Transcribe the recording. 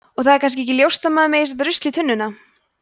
og það er kannski ekki ljóst að það megi setja rusl í tunnuna